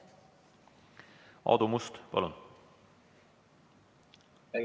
Aadu Must, palun!